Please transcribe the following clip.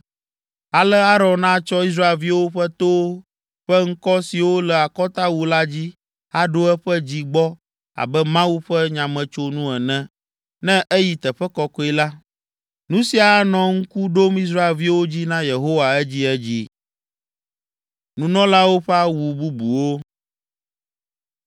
Ale Aron atsɔ Israelviwo ƒe towo ƒe ŋkɔ siwo le akɔtawu la dzi aɖo eƒe dzi gbɔ abe Mawu ƒe nyametsonu ene, ne eyi Teƒe Kɔkɔe la. Nu sia anɔ ŋku ɖom Israelviwo dzi na Yehowa edziedzi.”